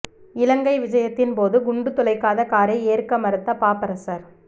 இலங்கை விஜயத்தின் போது குண்டு துளைக்காத காரை ஏற்க மறுத்த பாப்பரசர்